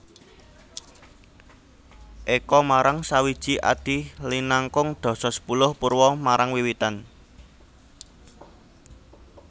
Eka marang sawiji adi linangkung dasa sepuluh purwa marang wiwitan